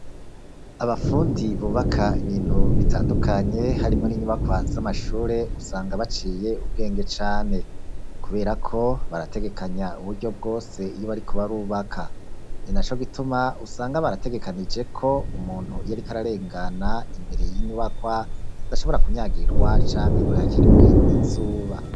Abafundi bubaka ibintu bitandukanye harimwo n'inyubakwa z'amashure usanga baciye ubwenge cane, kuberako barategekanya uburyo bwose iyo bariko barubaka. Ni naco gituma usanga barategekanije ko umuntu iyo ariko ararengana imbere y'inyubakwa, adashobora kunyagirwa canke ngo yakirwe n'izuba.